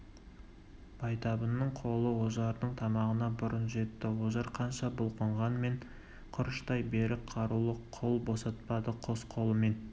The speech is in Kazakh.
байтабынның қолы ожардың тамағына бұрын жетті ожар қанша бұлқынғанмен құрыштай берік қарулы қол босатпады қос қолымен